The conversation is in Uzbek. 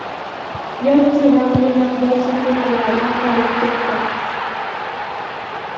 yoki vaqtli matbuot sahifalarida qolib ketdi.